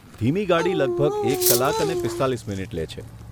ધીમી ગાડી લગભગ એક કલાક અને પીસ્તાલીસ મિનિટ લે છે.